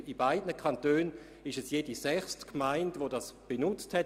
In beiden Kantonen ist es jede sechste Gemeinde, welche diese Möglichkeit genutzt hat.